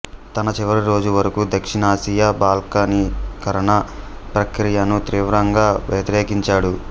తన చివరి రోజు వరకు దక్షిణాసియా బాల్కనీకరణ ప్రక్రియను తీవ్రంగా వ్యతిరేకించాడు